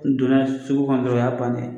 don n'a ye sugu kɔnɔ dɔrɔn o y'a bannen ye.